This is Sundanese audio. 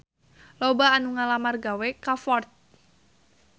Loba anu ngalamar gawe ka Ford